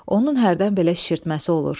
Onun hərdən belə şişirtməsi olur.